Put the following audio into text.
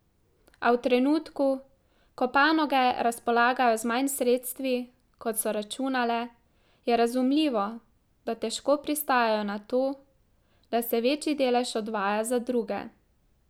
A v trenutku, ko panoge razpolagajo z manj sredstvi, kot so računale, je razumljivo, da težko pristajajo na to, da se večji delež odvaja za druge.